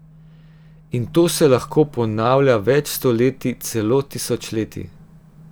In to se lahko ponavlja več stoletij, celo tisočletij.